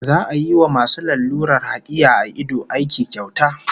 Za'a yi wa masu lalurar hakiya a ido aiki kyauta